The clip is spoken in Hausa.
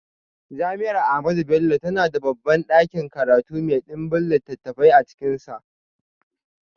Jami’ar Ahmadu Bello tana da babban dakin karatu mai dimbin littafai a cikinsa.